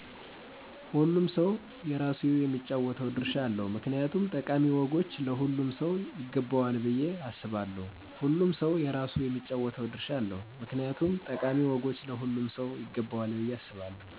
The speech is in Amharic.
ሆሉም ሰው የራሱ የሚጫወተው ድርሻ አለው ምክንያቱም ጠቃሚ ወጎች ለሆሉም ሰው ይገበዎል ብየ አሰባለው።